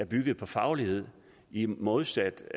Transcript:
byggede på faglighed i modsætning